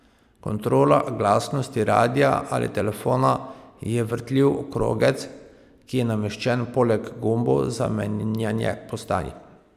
Kontrola glasnosti radia ali telefona je vrtljiv krogec, ki je nameščen poleg gumbov za menjanje postaj.